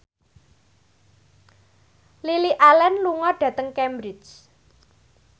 Lily Allen lunga dhateng Cambridge